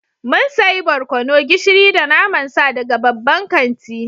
Mun sayi barkono, gishiri da naman sa daga babban kanti